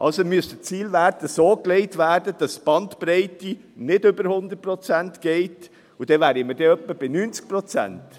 Also müsste der Zielwert so gelegt werden, dass die Bandbreite nicht über 100 Prozent geht, und dann wäre man etwa bei 90 Prozent.